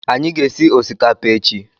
Anyị ga- esị osikapa echi